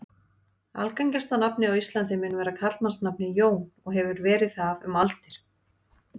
Algengasta nafnið á Íslandi mun vera karlmannsnafnið Jón og hefur verið það um aldir.